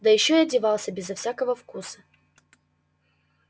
да ещё и одевался безо всякого вкуса